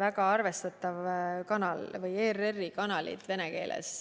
väga arvestatav kanal, üldse ERR-i kanalid vene keeles.